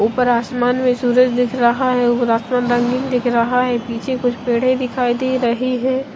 उपर आसमन में सूरज दिख रहा है और आसमान रंगीन दिख रहा है पीछे कुछ पेड दिखई दे रही है।